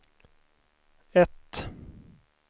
ett